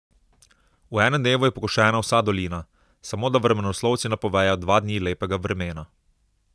V enem dnevu je pokošena vsa dolina, samo da vremenoslovci napovejo dva dni lepega vremena.